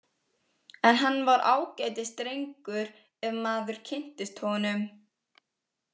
En hann var ágætis drengur ef maður kynntist honum.